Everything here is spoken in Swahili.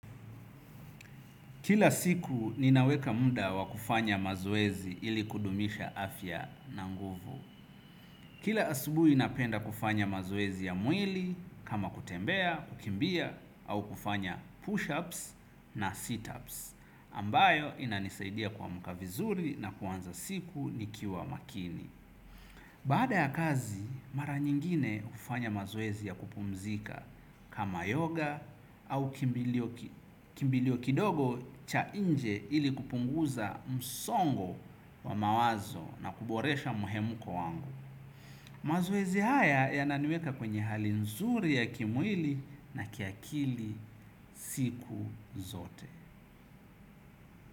Kila siku ninaweka muda wa kufanya mazoezi ili kudumisha afya na nguvu. Kila asubuhi napenda kufanya mazoezi ya mwili kama kutembea, kukimbia au kufanya push ups na sit ups ambayo inanisaidia kuamka vizuri na kuanza siku nikiwa makini. Baada ya kazi, mara nyingine hufanya mazoezi ya kupumzika kama yoga au kimbilio kidogo cha nje ili kupunguza msongo wa mawazo na kuboresha mhemko wangu mazoezi haya yananiweka kwenye hali nzuri ya kimwili na kiakili siku zote.